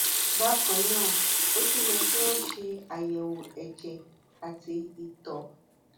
bákan náà ó tún yẹ kí wọn ṣe àyẹwò ẹjẹ àti ìtọ